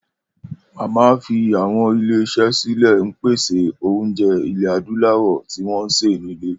Mama fi àwọn ilé-iṣẹ́ sílẹ̀ máa ń pèsè oúnjẹ ilẹ̀ Adúláwọ̀ tí wọ́n ṣe nílé.